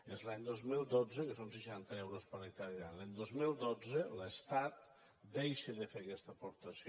és l’any dos mil dotze que són seixanta euros per hectàrea any que l’estat deixa de fer aquesta aportació